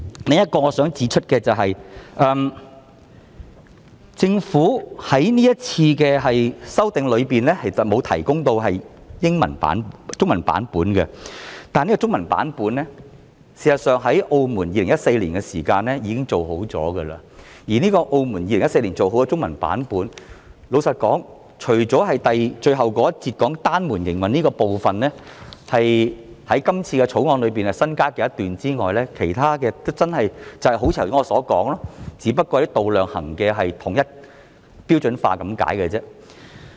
我想指出的另一點是，政府在這次修訂中沒有提供 Annex II 的中文版，但事實上，澳門已在2014年提供中文版，這個版本除了最後一節提到單門營運的部分，那是《條例草案》新增的一段外，其他部分真的正是如我剛才所說般，只是統一度量衡用詞和單位而已。